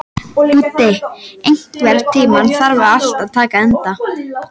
Búddi, einhvern tímann þarf allt að taka enda.